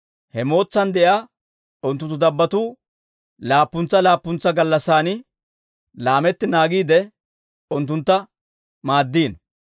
He mootsan de'iyaa unttunttu dabbotuu laappuntsa laappuntsa gallassan laametti naagiide, unttuntta maaddino.